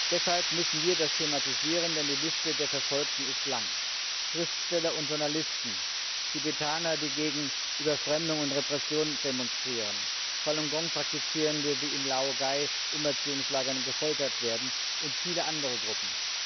Deshalb müssen wir das thematisieren, denn die Liste der Verfolgten ist lang Schriftsteller und Journalisten, Tibetaner, die gegen Überfremdung und Repressionen demonstrieren, Falun Gong Praktizierende, die in Laogai Umerziehungslager gefoltert werden, und viele andere Gruppen.